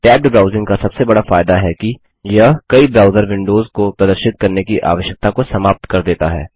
tabbed browsing का सबसे बड़ा फायदा है कि यह कई ब्राउज़र विंडोज को प्रदर्शित करने की आवश्यकता को समाप्त कर देता है